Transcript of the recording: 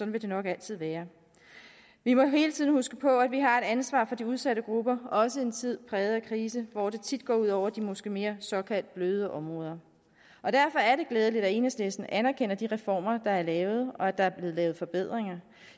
vil det nok altid være vi må hele tiden huske på at vi har et ansvar for de udsatte grupper og også i en tid præget af krise hvor det tit gå ud over de måske mere såkaldt bløde områder derfor er det glædeligt at enhedslisten anerkender de reformer der er lavet og anerkender at der bliver lavet forbedringer